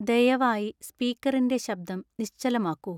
ദയവായി സ്പീക്കറിന്റെ ശബ്ദം നിശ്ചലമാക്കൂ